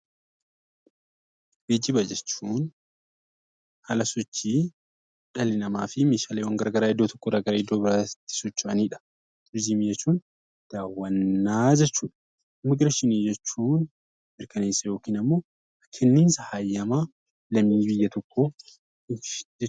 Geejjiba jechuun haala sochii dhala namaafi meeshaaleewwan garagaraa iddoo tokko irraa gara iddoo biraatti socho'aniidha. Turizimii jechuun daawwannaa jechuudha. Immigireeshinii jechuun mirkaneessa yookiin ammoo kenniinsa hayyama lammii biyya tokkooti jechuudha.